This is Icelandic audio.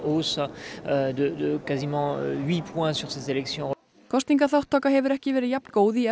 kosningaþátttaka hefur ekki verið jafn góð í